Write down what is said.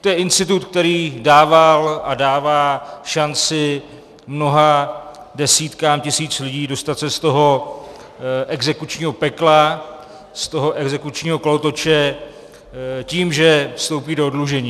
To je institut, který dával a dává šanci mnohým desítkám tisíc lidí dostat se z toho exekučního pekla, z toho exekučního kolotoče tím, že vstoupí do oddlužení.